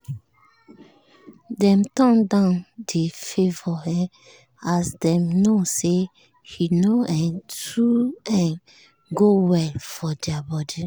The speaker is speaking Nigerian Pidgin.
dem turn down the favour um as dem know say e no um too um go well for their body